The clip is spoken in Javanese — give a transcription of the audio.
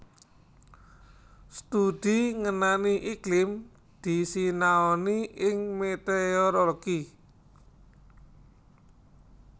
Studi ngenani iklim disinaoni ing météorologi